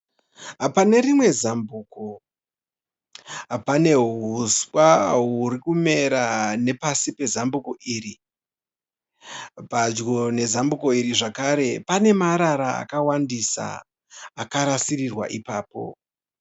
Pane rimwe zambuko, pane huswa hwurikumera nepasi pezambuko iri, padyo nezambuko iri zvakare pane marara akawandisa akarasirirwa ipapo.